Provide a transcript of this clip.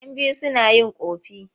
Yan biyu suna yin ƙofi.